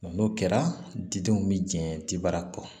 N'o kɛra didenw bi jɛ tibara kɔ